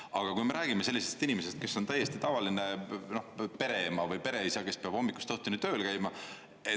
Aga kui me räägime sellisest inimesest, kes on täiesti tavaline pereema või pereisa, kes peab hommikust õhtuni tööl käima.